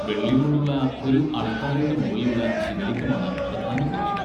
വെള്ളി കൊണ്ടുള്ള ഒരു അൾത്താരയുടെ മുകളിലുള്ള ശിവലിംഗമാണ് പ്രധാന പ്രതിഷ്ഠ.